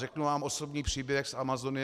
Řeknu vám osobní příběh z Amazonie.